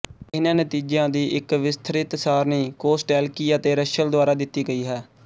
ਇਹਨਾਂ ਨਤੀਜਿਆਂ ਦੀ ਇੱਕ ਵਿਸਥ੍ਰਿਤ ਸਾਰਣੀ ਕੋਸਟੈਲਕੀ ਅਤੇ ਰੱਸ਼ਲ ਦੁਆਰਾ ਦਿੱਤੀ ਗਈ ਹੈ